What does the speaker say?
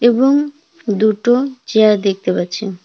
এবং দুটো চেয়ার দেখতে পাচ্ছি।